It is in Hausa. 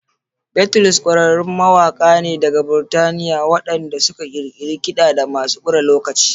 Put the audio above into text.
Beatles ƙwararrun mawaka ne daga Burtaniya ne waɗanda suka ƙirƙiri kidamasu kure lokaci.